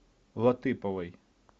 латыповой